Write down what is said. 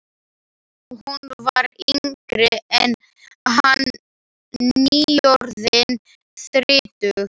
Hún var yngri en hann, nýorðin þrítug.